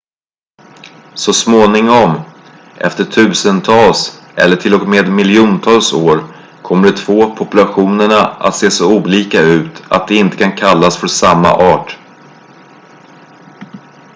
så småningom efter tusentals eller till och med miljontals år kommer de två populationerna att se så olika ut att de inte kan kallas för samma art